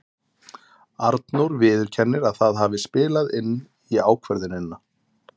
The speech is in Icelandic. Arnór viðurkennir að það hafi spilað inn í ákvörðunina.